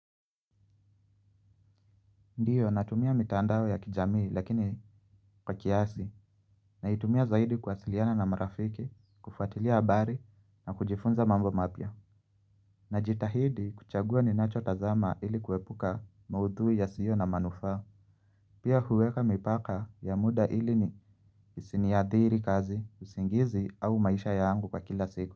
Ndiyo natumia mitandao ya kijamii lakini kwa kiasi. Naitumia zaidi kuwasiliana na marafiki, kufuatilia habari na kujifunza mambo mapya. Najitahidi kuchagua ninacho tazama ili kuepuka maudhui yasio na manufaa. Pia huweka mipaka ya muda ili isiniadhiri kazi, usingizi au maisha yangu kwa kila siku.